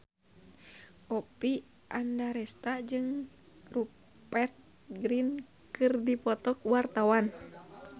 Oppie Andaresta jeung Rupert Grin keur dipoto ku wartawan